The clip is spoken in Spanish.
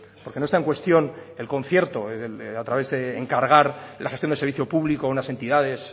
porque no está en cuestión el concierto a través de encargar la gestión de servicio público a unas entidades